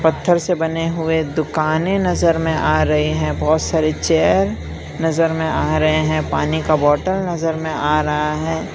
पत्थर से बने हुए दुकानें नजर में आ रहे हैं। बहुत सारी चेयर नजर में आ रहे हैं। पानी का बोतल नजर में आ रहा है।